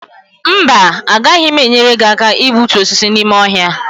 mba, agaghị m enyere gị aka igbutu osisi n’ime ọhịa